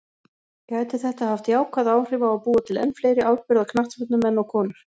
Gæti þetta haft jákvæð áhrif á að búa til enn fleiri afburða knattspyrnumenn og konur?